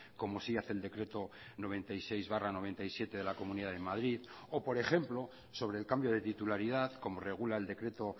como sí hace el decreto noventa y seis barra noventa y siete de la comunidad de madrid o por ejemplo sobre el cambio de titularidad como regula el decreto